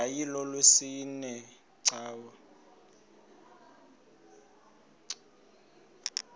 yayilolwesine iwe cawa